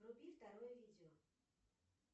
вруби второе видео